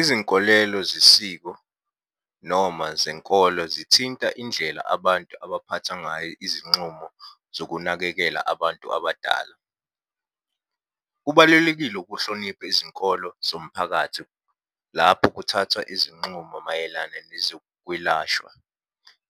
Izinkolelo zesiko noma zenkolo zithinta indlela abantu abaphatha ngayo izinxumo zokunakekela abantu abadala. Kubalelekile ukuhlonipha izinkolo zomphakathi lapho kuthathwa izinxumo mayelana nezokwelashwa.